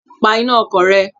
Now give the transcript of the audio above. Pa iná ọkọ̀ rẹ!